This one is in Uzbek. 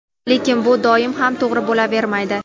Lekin bu doim ham to‘g‘ri bo‘lavermaydi.